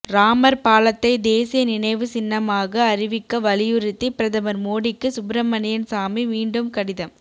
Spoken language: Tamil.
ராமர் பாலத்தை தேசிய நினைவு சின்னமாக அறிவிக்க வலியுறுத்தி பிரதமர் மோடிக்கு சுப்பிரமணியன் சாமி மீண்டும் கடிதம்